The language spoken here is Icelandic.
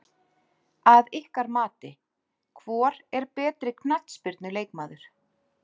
Að ykkar mati, hvor er betri knattspyrnu leikmaður?